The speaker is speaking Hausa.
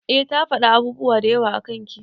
Eh ta fada abubuwa dayawa akan ki.